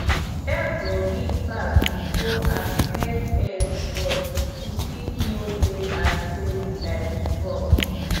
egg go big pass before as hen age but e fit no lay as steady like before